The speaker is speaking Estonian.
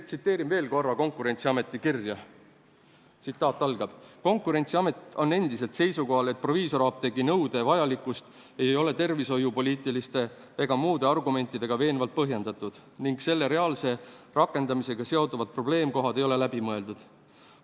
" Tsiteerin Konkurentsiameti kirja veel: "Konkurentsiamet on endiselt seisukohal, et proviisorapteegi nõude vajalikkust ei ole tervishoiupoliitiliste ega muude argumentidega veenvalt põhjendatud ning selle reaalse rakendamisega seonduvad probleemkohad ei ole läbi mõeldud.